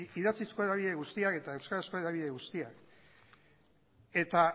idatzizko hedabide guztiak eta euskarazko hedabide guztiak eta